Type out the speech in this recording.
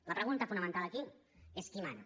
la pregunta fonamental aquí és qui mana